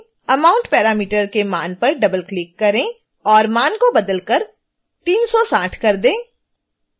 amount parameter के मान पर डबलक्लिक करें और मान को बदलकर 360 कर दें